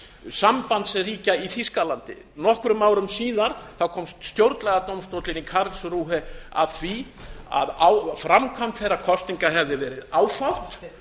sambandsríkja í þýskalandi nokkrum árum síðar komst stjórnlagadómstóllinn í karlsruhe að því að framkvæmd þeirra kosninga hefði verið áfátt